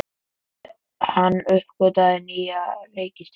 Hann uppgötvaði nýja reikistjörnu!